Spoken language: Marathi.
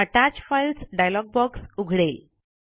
अत्तच फाइल्स डायलॉग बॉक्स उघडेल